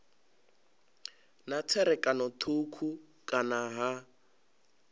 na tserakano thukhu kana ha